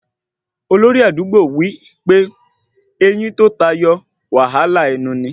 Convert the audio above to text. Olórí àdúgbò wí pé eyín tó tayọ wàhálà ẹnu ni